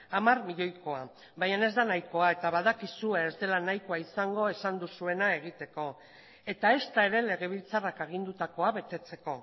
hamar milioikoa baina ez da nahikoa eta badakizue ez dela nahikoa izango esan duzuena egiteko eta ezta ere legebiltzarrak agindutakoa betetzeko